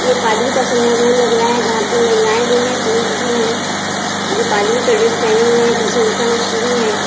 ये पादरी का समारोह लग रहा है जहाँ पे महिलाए भी है पुरष भी है जो पादरी का ड्रेस पेहेने हुए है। पीछे ईसामासिह भी है।